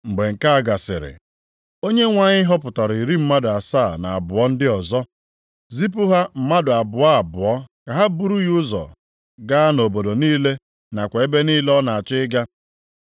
Mgbe nke a gasịrị, Onyenwe anyị họpụtara iri mmadụ asaa na abụọ ndị ọzọ, zipụ ha mmadụ abụọ abụọ ka ha buru ya ụzọ gaa nʼobodo niile nakwa ebe niile ọ na-achọ ịga. + 10:1 Ọ bụ naanị Luk dere banyere nzipụ ezipụrụ ndị ozi iri asaa na abụọ ndị a.